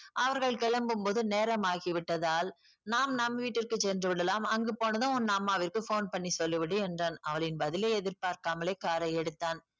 அவர்கள் கிளம்பும் போது நேரமாகி விட்டதால் நாம் நம் வீட்டிற்கு சென்று விடலாம். அங்கு போனதும் உன் அம்மாவிற்கு phone பண்ணி சொல்லி விடு என்றான். அவளின் பதிலை எதிர் பார்க்காமலே car ஐ எடுத்தான்.